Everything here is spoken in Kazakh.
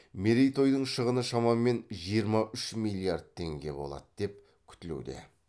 мерейтойдың шығыны шамамен жиырма үш миллиард теңге болады деп күтілуде